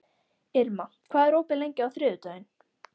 Irma, hvað er opið lengi á þriðjudaginn?